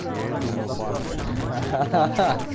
я и думал банка ха-ха